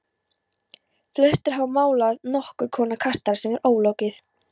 Flestir hafa málað nokkurs konar kastala sem er ólokið.